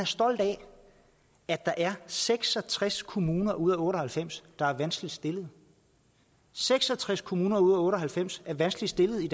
stolt af at der er seks og tres kommuner ud af otte og halvfems der er vanskeligt stillet seks og tres kommuner ud af otte og halvfems er vanskeligt stillet vi